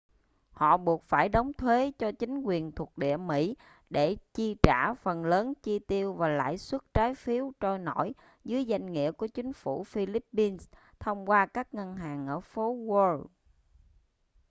họ buộc phải đóng thuế cho chính quyền thuộc địa mỹ để chi trả phần lớn chi tiêu và lãi suất trái phiếu trôi nổi dưới danh nghĩa của chính phủ philippines thông qua các ngân hàng ở phố wall